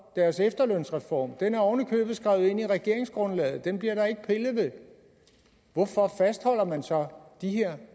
deres efterlønsreform den er oven i købet skrevet ind i regeringsgrundlaget den bliver der ikke pillet ved hvorfor fastholder man så de her